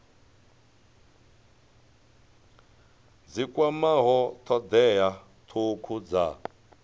dzi kwamaho thodea thukhu dza